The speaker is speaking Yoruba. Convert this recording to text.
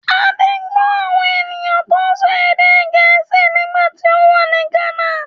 Adé gbọ́ àwọn ènìyàn tó ń sọ èdè Gèésì nígbà tí ó wà ní Ghana.